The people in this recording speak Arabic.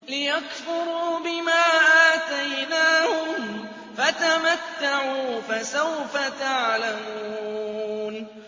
لِيَكْفُرُوا بِمَا آتَيْنَاهُمْ ۚ فَتَمَتَّعُوا ۖ فَسَوْفَ تَعْلَمُونَ